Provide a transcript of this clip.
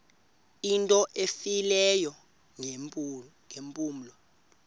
into efileyo ngeempumlo